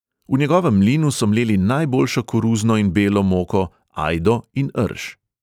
V njegovem mlinu so mleli najboljšo koruzno in belo moko, ajdo in rž.